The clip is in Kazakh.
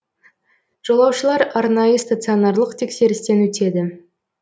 жолаушылар арнайы стационарлық тексерістен өтеді